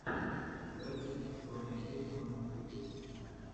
запись соня есьман ютюб